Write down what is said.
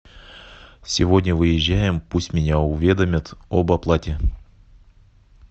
сегодня выезжаем пусть меня уведомят об оплате